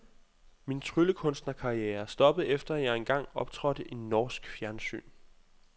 Min tryllekunstnerkarriere stoppede efter, at jeg engang optrådte i norsk fjernsyn.